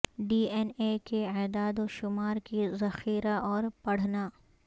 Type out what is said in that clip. D N A کے اعداد و شمار کی ذخیرہ اور پڑھنا